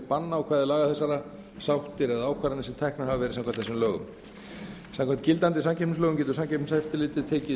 bannákvæði laga þessara sáttir eða ákvarðanir sem teknar hafa verið samkvæmt þessum lögum samkvæmt gildandi samkeppnislögum getur samkeppniseftirlitið tekið